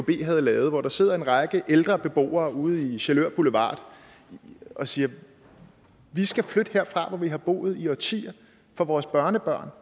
havde lavet hvor der sidder en række ældre beboere ude i sjælør boulevard og siger vi skal flytte herfra hvor vi har boet i årtier fra vores børnebørn